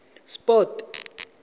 sport